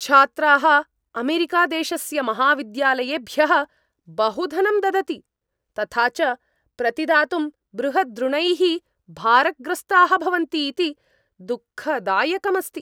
छात्राः अमेरिकादेशस्य महाविद्यालयेभ्यः बहु धनं ददति, तथा च प्रतिदातुं बृहद्ऋणैः भारग्रस्ताः भवन्ति इति दुःखदायकम् अस्ति।